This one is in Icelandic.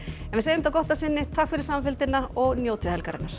en við segjum þetta gott að sinni takk fyrir samfylgdina og njótið helgarinnar